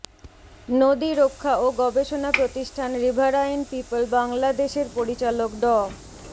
নদী রক্ষা ও গবেষণা প্রতিষ্ঠান রিভারাইন পিপল বাংলাদেশের পরিচালক ড